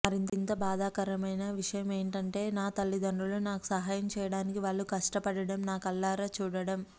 మరింత బాధాకరమైన విషయం ఏంటంటే నా తల్లిదండ్రులు నాకు సహాయం చేయడానికి వాళ్ళు కష్టపడం నా కళ్ళార చూడటం